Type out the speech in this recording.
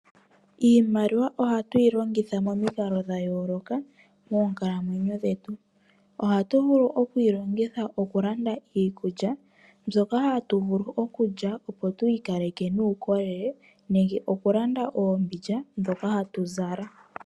Iimaliwa ohatu yi longitha momikalo dha yooloka moonkalamwenyo dhetu . Ohatu vulu oku yi longitha okulanda iikulya mbyoka hatuvulu okulya opo twi ikaleke nuukolele nenge oku landa oombindja ndhoka hatuzala.